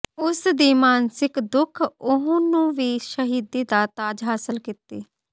ਉਸ ਦੀ ਮਾਨਸਿਕ ਦੁੱਖ ਉਹ ਨੂੰ ਵੀ ਸ਼ਹੀਦੀ ਦਾ ਤਾਜ ਹਾਸਲ ਕੀਤੀ